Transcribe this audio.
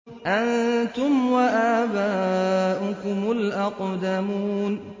أَنتُمْ وَآبَاؤُكُمُ الْأَقْدَمُونَ